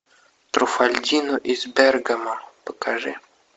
труффальдино из бергамо покажи